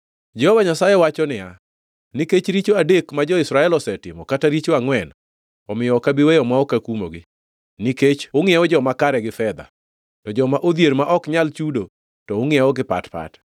Jehova Nyasaye wacho niya, “Nikech richo adek ma jo-Israel osetimo, kata richo angʼwen, omiyo ok abi weyo ma ok akumogi. Nikech ungʼiewo joma kare gi fedha, to joma odhier ma ok nyal chudo, to ungʼiewo gi pat pat.